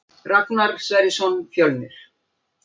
Ragnar Sverrisson Fjölnir